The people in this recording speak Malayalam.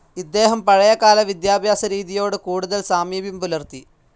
ഇദ്ദേഹം പഴയ കാല വിദ്യാഭ്യാസ രീതിയോട് കൂടുതൽ സാമീപ്യം പുലർത്തി.